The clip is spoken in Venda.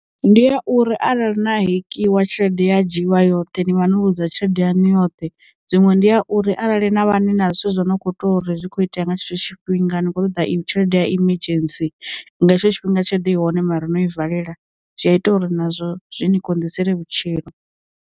Ndi a uri arali na hekiwa tshelede ya dzhiwa yoṱhe ni vha no vhudza tshelede yanu yoṱhe, dziṅwe ndi a uri arali na vha ni na zwithu zwo no kho to uri zwi kho itea nga tshithu tshifhinga ni kho ṱoḓa tshelede ya emergency nga hetsho tshifhinga tshelede i hone mara no i valela, zwi a ita uri nazwo zwi ni konḓisele vhutshilo.